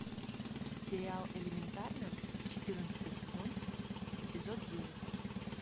сериал элементарно четырнадцатый сезон эпизод девять